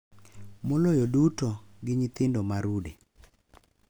Moloyo duto, gi nyithindo ma rude.